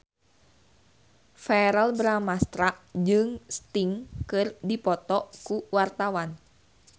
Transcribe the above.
Verrell Bramastra jeung Sting keur dipoto ku wartawan